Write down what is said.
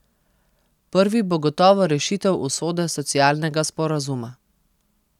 Prvi bo gotovo rešitev usode socialnega sporazuma.